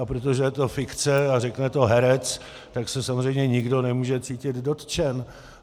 A protože je to fikce a řekne to herec, tak se samozřejmě nikdo nemůže cítit dotčen.